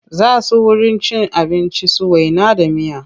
Za su wurin cin abinci su waina da miya.